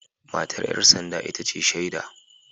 Matar ‘yar sanda ita ce shaida